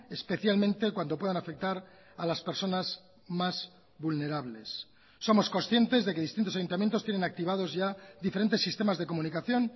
especialmente cuando puedan afectar a las personas más vulnerables somos conscientes de que distintos ayuntamientos tienen activados ya diferentes sistemas de comunicación